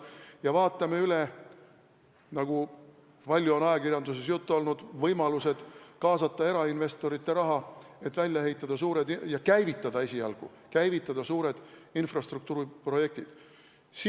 Me vaatame üle, nagu on ka ajakirjanduses palju juttu olnud, võimalused kaasata erainvestorite raha, et esialgu käivitada suured infrastruktuuriprojektid ja siis objektid välja ehitada.